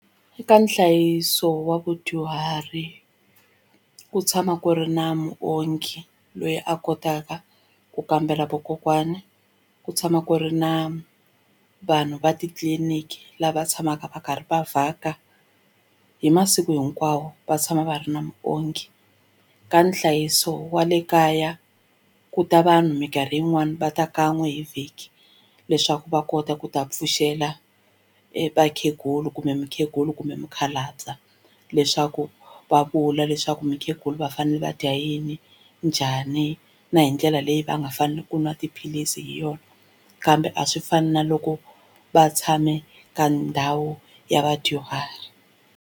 Eka nhlayiso wa vadyuhari ku tshama ku ri na muongi loyi a kotaka ku kambela vakokwana ku tshama ku ri na vanhu va titliliniki lava tshamaka va karhi va vhaka hi masiku hinkwawo va tshama va ri na muongi ka nhlayiso wa le kaya ku ta vanhu mikarhi yin'wani va ta kan'we hi vhiki leswaku va kota ku ta pfuxela vakhegulu kumbe mukhegula kumbe mukhalabye wa leswaku va vula leswaku mukhegula va fanele va dya yini njhani na hi ndlela leyi va nga fanele ku nwa tiphilisi hi yona kambe a swi fani na loko va tshame ka ndhawu ya vadyuhari.